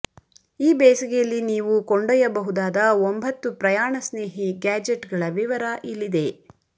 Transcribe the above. ಈ ಬೇಸಗೆಯಲ್ಲಿ ನೀವು ಕೊಂಡೊಯ್ಯಬಹುದಾದ ಒಂಭತ್ತು ಪ್ರಯಾಣ ಸ್ನೇಹಿ ಗ್ಯಾಜೆಟ್ ಗಳ ವಿವರ ಇಲ್ಲಿದೆ